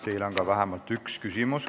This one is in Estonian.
Teile on vähemalt üks küsimus.